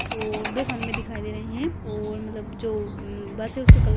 ओर दो खंबे दिखाई दे रहे हैं ओर मतलब जो म्म बस है उसका कल --